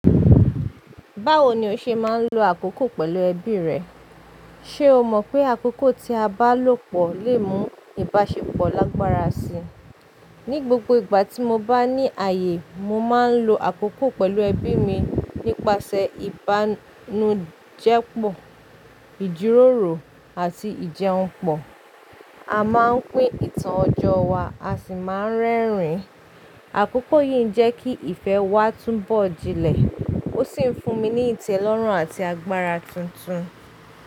Báwo ni o ṣe máa ń lo àkókò pẹ̀lú ẹbí rẹ? Ṣé o mọ̀ pé àkókò tí a bá lò pọ̀ lè mú ìbáṣepọ̀ lágbára síi? Ni gbogbo ìgbà tí mo bá ní ààyè, mo máa ń lo àkókò pẹ̀lú ẹbí mi nípasẹ̀ ìbánújẹ́ pọ̀, ìjíròrò àti ìjẹun pọ̀. A máa ń pín ìtàn ọjọ́ wa, a sì máa ń rẹ́rìn-ín. Àkókò yìí ń jẹ́ kí ìfẹ́ wa túnbọ̀ jinlẹ̀, ó sì ń fún mi ní ìtẹ́lọ́rùn àti agbára tuntun.